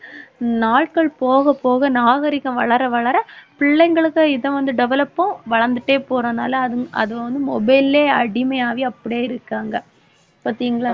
நாட்கள் போகப் போக நாகரிகம் வளர வளர பிள்ளைங்களுக்கு இதவந்து develop உம் வளர்ந்துட்டே போறனால அது அதுவந்து mobile லயே அடிமையாகி அப்படியேயிருக்காங்க பார்த்தீங்களா